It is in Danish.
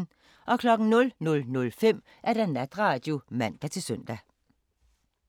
00:05: Natradio (man-søn)